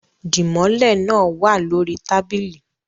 Dimole naa wa lori tabili